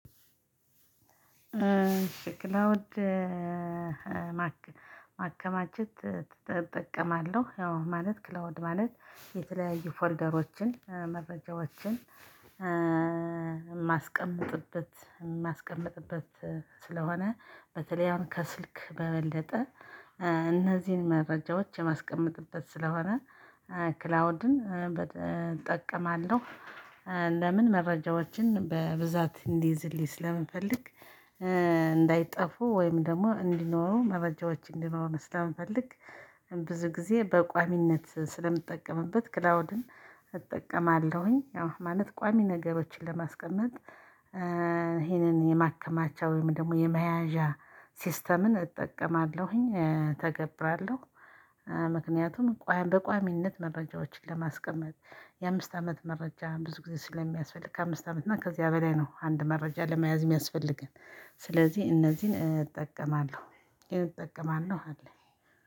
የክላውድ ማከማቸት እጠቀማለሁ። ያው ማለት ክላውድ ማለት የተለያዩ ፎልደሮችን፣ መረጃዎችን የማስቀምጥበት የማስቀምጥበት ስለሆነ በተለይ አሁን ከስልክ በበለጠ እነዚህን መረጃዎች የማስቀምጥበት ስለሆነ ክላውድን እጠቀማለሁ። ለምን? መረጃዎችን በብዛት እንዲይዝልኝ ስለምፈልግ እንዳይጠፉ ወይም ደግሞ እንዲኖሩ መረጃዎች እንዲኖሩ ስለምፈልግ ብዙ ጊዜ በቋሚነት ስለምጠቀምበት ክላውድን እጠቀማለሁኝ። ያው ማለት ቋሚ ነገሮችን ለማስቀመጥ ይህንን የማከማቻ ወይም ደግሞ የመያዣ ሲስተምን እጠቀማለሁኝ፤ እተገብራለሁ። ምክንያቱም በቋሚነት መረጃዎችን ለማስቀመጥ የአምስት አመት መረጃ ብዙ ጊዜ ስለሚያስፈልግ ከአምስት አመት እና ከዚያ በላይ ነው አንድ መረጃ ለመያዝ የሚያስፈልግ። ስለዚህ እነዚህን እጠቀማለሁ። እጠቀማለሁ አለኝ።